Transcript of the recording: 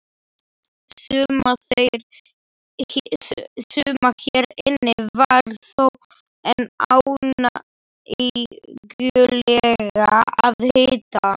Suma hér inni var þó enn ánægjulegra að hitta!